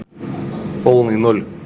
полный ноль